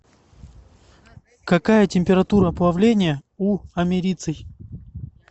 какая температура плавления у америций